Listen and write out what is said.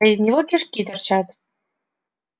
а из него кишки торчат